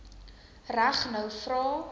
reg nou vra